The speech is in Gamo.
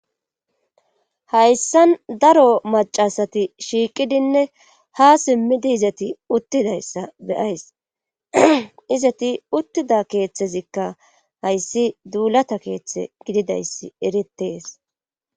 Hayssan daro macasati shiiqidinne ha simmidi izati uttidayssa beyays izati uttida keeththezikka hayssi duulata keeththe gididayssi eritees